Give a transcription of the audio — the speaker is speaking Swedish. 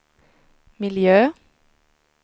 miljö